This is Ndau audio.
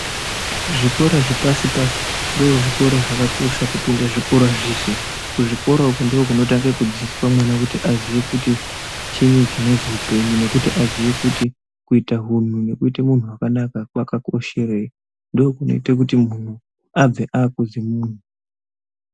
Zvikora zvepasi-pasi ndozvikora zvakakosha kupinda zvikora zveshe. Kuzvikora uku ndiko kunotange kudzidziswa mwana kuti aziye kuti chinyi chinozwi upenyu nekuti aziye kuti kuita hunhu nekuite munhu wakanaka, kwakakosherei. Ndiko kunoite kuti muntu abve akuzi munhu.